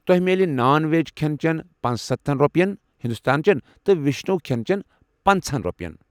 تۄہہِ میلہِ نان وٮ۪ج کھٮ۪ن چٮ۪ن پَنسَتھن رۄپین، ہندوستٲنچٮ۪ن تہٕ وشنٕوِ کھٮ۪ن چٮ۪ن پنژہَن رۄپین۔